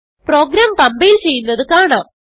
programme compile ചെയ്യുന്നത് കാണാം